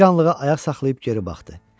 Bir anlığa ayaq saxlayıb geri baxdı.